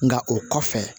Nka o kɔfɛ